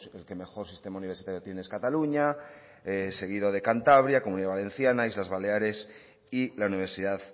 el que mejor sistema universitario tiene es cataluña seguido de cantabria comunidad valenciana islas baleares y